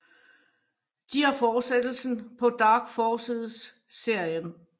De er forsættelsen på Dark Forces serien